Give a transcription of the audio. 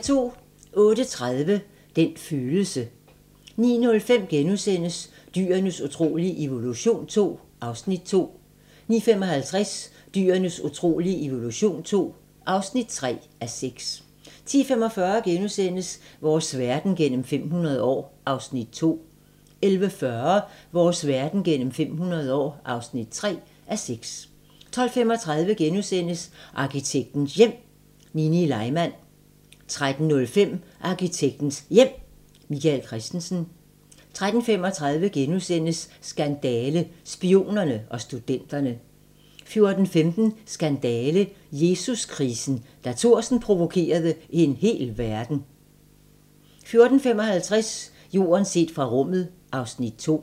08:30: Den følelse 09:05: Dyrenes utrolige evolution II (2:6)* 09:55: Dyrenes utrolige evolution II (3:6) 10:45: Vores verden gennem 500 år (2:6)* 11:40: Vores verden gennem 500 år (3:6) 12:35: Arkitektens Hjem: Nini Leimand * 13:05: Arkitektens Hjem: Michael Christensen 13:35: Skandale - Spionerne og studenterne * 14:15: Skandale - Jesus-krisen: Da Thorsen provokerede en hel verden 14:55: Jorden set fra rummet (Afs. 2)